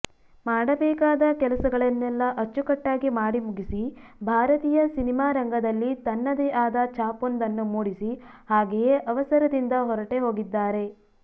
ಮಾಡಬೇಕಾದ ಕೆಲಸಗಳನ್ನೆಲ್ಲ ಅಚ್ಚುಕಟ್ಟಾಗಿ ಮಾಡಿ ಮುಗಿಸಿ ಭಾರತೀಯ ಸಿನಿಮಾರಂಗದಲ್ಲಿ ತನ್ನದೇ ಆದ ಛಾಪೊಂದನ್ನು ಮೂಡಿಸಿ ಹಾಗೆಯೇ ಅವಸರದಿಂದ ಹೊರಟೇ ಹೋಗಿದ್ದಾರೆ